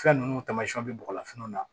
Fɛn ninnu tamasiɛnw bɛ bɔgɔlafiniw na